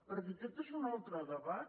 perquè aquest és un altre debat